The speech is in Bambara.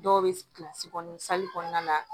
Dɔw bɛ kilasi kɔnɔntɔn kɔnɔna na